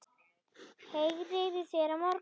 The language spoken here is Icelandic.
Heyri í þér á morgun.